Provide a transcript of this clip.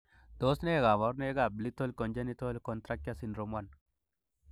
Tos nee koborunoikab Lethal congenital contracture syndrome 1?